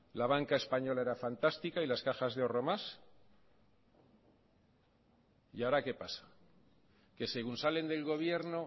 la banca española era fantástica y las cajas de ahorro más y ahora qué pasa que según salen del gobierno